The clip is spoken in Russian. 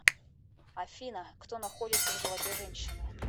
афина кто находится в животе женщины